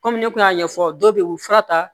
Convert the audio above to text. Kɔmi ne kun y'a ɲɛfɔ dɔw be yen u bi fura ta